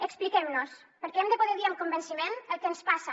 expliquem nos perquè hem de poder dir amb convenciment el que ens passa